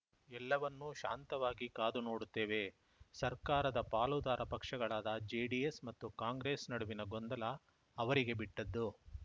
ಎಲ್ಲವನ್ನೂ ಶಾಂತವಾಗಿ ಕಾದು ನೋಡುತ್ತೇವೆ ಸರ್ಕಾರದ ಪಾಲುದಾರ ಪಕ್ಷಗಳಾದ ಜೆಡಿಎಸ್‌ ಮತ್ತು ಕಾಂಗ್ರೆಸ್‌ ನಡುವಿನ ಗೊಂದಲ ಅವರಿಗೆ ಬಿಟ್ಟದ್ದು